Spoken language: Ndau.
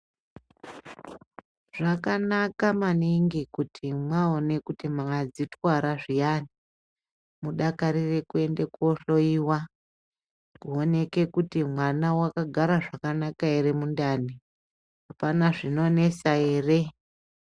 Zvakanaka maningi kuti mwaone kuti mwadzitwara zviyani ,mudakarire kuenda kohloiwa, kuoneke kuti mwana wakagara zvakanaka ere mundani. Apana zvinonesa ere.